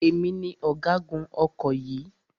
Èmi ni ọ̀gágun ọkọ̀ yìí.